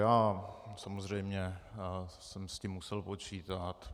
Já samozřejmě jsem s tím musel počítat.